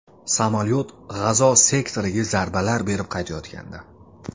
Samolyot G‘azo sektoriga zarbalar berib qaytayotgandi.